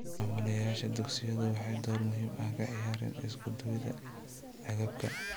Maamulayaasha dugsiyadu waxay door muhiim ah ka ciyaareen isku duwidda agabka.